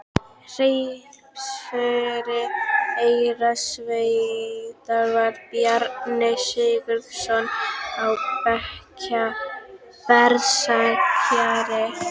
Hreppstjóri Eyrarsveitar var Bjarni Sigurðsson á Berserkseyri.